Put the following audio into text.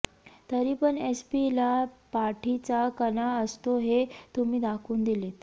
तरी पण S P ला पाठीचा कणा असतो हे तुम्ही दाखवून दिलेत